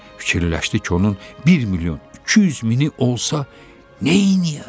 Fikirləşdi ki, onun 1 milyon 200 mini olsa, neyləyər?